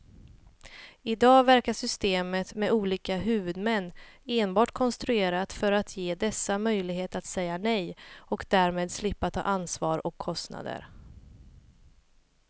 I dag verkar systemet med olika huvudmän enbart konstruerat för att ge dessa möjlighet att säga nej och därmed slippa ta ansvar och kostnader.